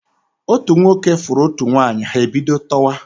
Otu nwoke fụrụ otu nwanyi, ha ebido tọwa.